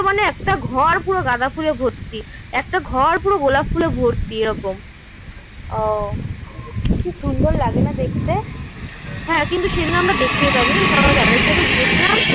মানে একটা ঘর পুরো গাঁদা ফুলে ভর্তি. একটা ঘর পুরো গোলাপ ফুলে ভর্তি এইরকম. ও খুব সুন্দর লাগে না দেখতে. হ্যাঁ কিন্তু সেদিন আমরা দেখতেই পাইনি যে সবাই দাদাদের সাথে গেছিলাম